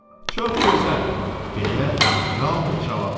"Çox gözəl," deyə Raunq cavab verdi.